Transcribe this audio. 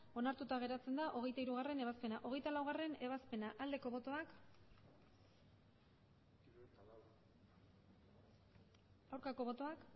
onartuta geratzen da hogeita hirugarrena ebazpena hogeita laugarrena ebazpena aldeko botoak aurkako botoak